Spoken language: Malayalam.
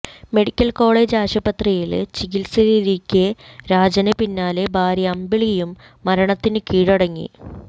മെഡിക്കല് കോളജ് ആശുപത്രിയില് ചികിത്സയിലിരിക്കെ രാജന് പിന്നാലെ ഭാര്യ അമ്പിളിയും മരണത്തിന് കീഴടങ്ങി